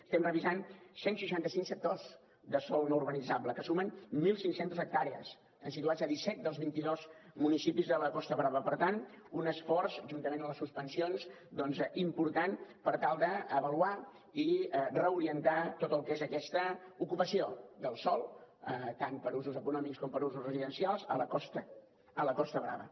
estem revisant cent i seixanta cinc sectors de sòl no urbanitzable que sumen mil cinc cents hectàrees situats a disset dels vint i dos municipis de la costa brava per tant un esforç juntament amb les suspensions doncs important per tal d’avaluar i reorientar tot el que és aquesta ocupació del sòl tant per usos econòmics com per usos residencials a la costa brava